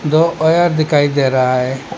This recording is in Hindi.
दो वायर दिखाई दे रहा है।